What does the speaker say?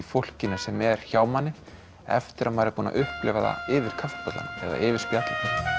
fólkinu sem er hjá manni eftir að maður er búinn að upplifa það yfir kaffibollanum eða yfir spjalli